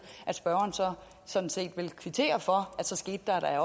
at spørgeren sådan set ville kvittere for at der da